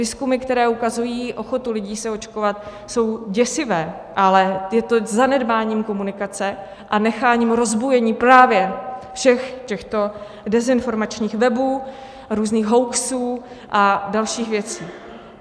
Výzkumy, které ukazují ochotu lidí se očkovat, jsou děsivé, ale je to zanedbáním komunikace a necháním rozbujení právě všech těchto dezinformačních webů, různých hoaxů a dalších věcí.